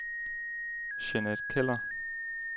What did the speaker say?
Jeanette Keller